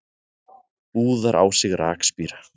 Úðar á sig rakspíra.